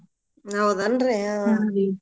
ಹೌದನ್ರಿ ಹ್ಮ್‌